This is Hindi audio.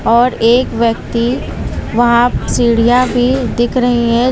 और एक व्यक्ति वहां सीढ़ियां भी दिख रही हैं।